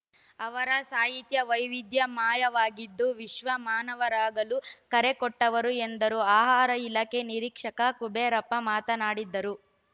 ಅವರ ಸಾಹಿತ್ಯ ವೈವಿಧ್ಯಮಯವಾಗಿದ್ದು ವಿಶ್ವ್ವಮಾನವರಾಗಲು ಕರೆ ಕೊಟ್ಟವರು ಎಂದರು ಆಹಾರ ಇಲಾಖೆ ನಿರೀಕ್ಷಕ ಕುಬೇರಪ್ಪ ಮಾತನಾಡಿದರು